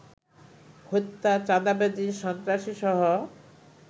হত্যা, চাঁদাবাজি, সন্ত্রাসীসহ